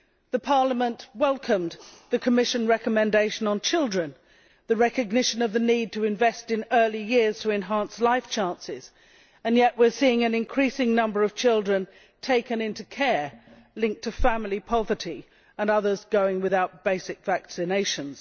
The Parliament welcomed the Commission recommendation on children and the recognition of the need to invest in early years to enhance life chances, yet we are seeing an increasing number of children taken into care linked to family poverty, and others going without basic vaccinations.